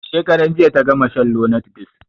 Shekaran jiya ta gama shan lonart ds.